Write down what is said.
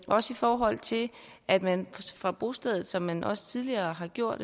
også i forhold til at man fra bostedet som man også tidligere har gjort